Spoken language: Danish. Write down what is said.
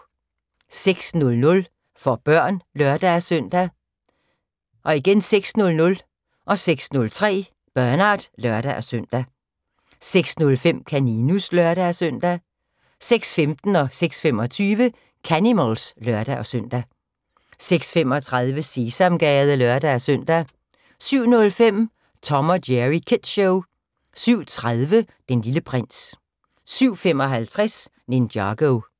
06:00: For børn (lør-søn) 06:00: Bernard (lør-søn) 06:03: Bernard (lør-søn) 06:05: Kaninus (lør-søn) 06:15: Canimals (lør-søn) 06:25: Canimals (lør-søn) 06:35: Sesamgade (lør-søn) 07:05: Tom & Jerry Kids Show 07:30: Den Lille Prins 07:55: Ninjago